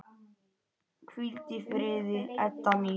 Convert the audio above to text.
Hvíldu í friði, Edda mín.